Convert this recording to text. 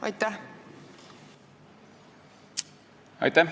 Aitäh!